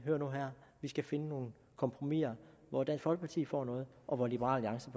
nu her vi skal finde nogle kompromiser hvor dansk folkeparti får noget og hvor liberal